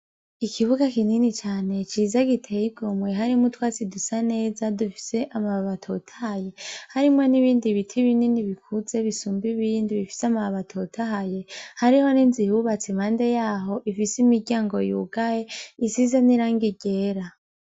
Ikibuga kinini cane , ciza giteye igomwe , harimwo utwatsi dusa neza dufise amababi atotahaye , harimwo n’ibindi biti binini bikuze bisumba ibindi bifise amababi atotahaye , hariho n’inzu ihubatse impande yaho ifise imiryango yugaye isize n’irangi ryera.